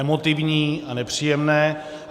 Emotivní a nepříjemné.